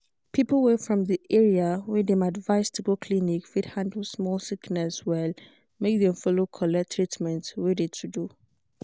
people wey from de area wey dem advised to go clinic fit handle small sickness well make dem follow collect treatment wey de to do.